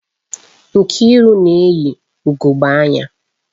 Nkiru na eyi ugogbe anya